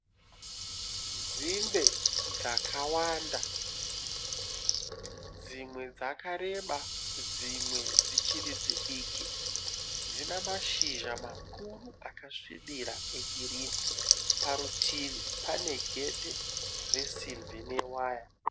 Nzimbe dzakawanda. Dzimwe dzakareba dzimwe dzichiri dzidiki. Dzine mashizha makuru akasvibira egirinhi. Parutivi pane gedhi resimbi newaya.